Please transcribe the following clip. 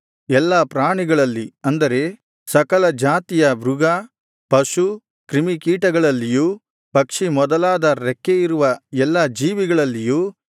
ಎಲ್ಲಾ ಪ್ರಾಣಿಗಳಲ್ಲಿ ಅಂದರೆ ಸಕಲ ಜಾತಿಯ ಮೃಗ ಪಶು ಕ್ರಿಮಿಕೀಟಗಳಲ್ಲಿಯೂ ಪಕ್ಷಿ ಮೊದಲಾದ ರೆಕ್ಕೆಯಿರುವ ಎಲ್ಲಾ ಜೀವಿಗಳಲ್ಲಿಯೂ